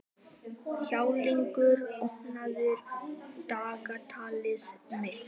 Háleygur, opnaðu dagatalið mitt.